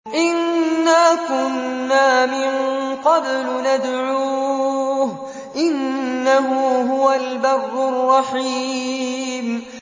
إِنَّا كُنَّا مِن قَبْلُ نَدْعُوهُ ۖ إِنَّهُ هُوَ الْبَرُّ الرَّحِيمُ